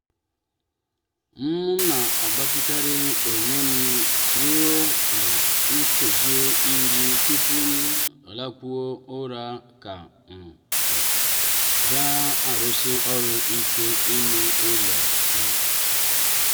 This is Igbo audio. m na-agbatịkarị onwem ruo nkeji iri tupu m lakpuo ụra ka um m um na-arụsi ọrụ ike n'ime ụlọ. um